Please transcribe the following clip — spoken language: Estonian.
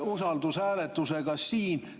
… usaldushääletusega siin.